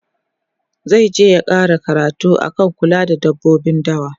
zaije ya ƙara karatu akan kula da dabbobin dawa